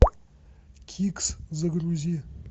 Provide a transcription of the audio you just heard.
кикс загрузи